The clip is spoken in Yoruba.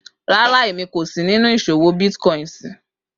Rara Emi ko sinu iṣowo bitcoins